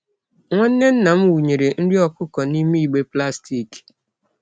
Nwanne nna m wunyere nri okuko nime igbe plastic.